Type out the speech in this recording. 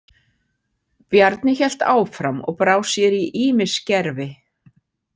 Bjarni hélt áfram og brá sér í ýmis gervi.